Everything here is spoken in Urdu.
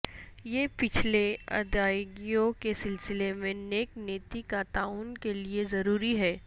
یہ پچھلے ادائیگیوں کے سلسلے میں نیک نیتی کا تعین کے لئے ضروری ہے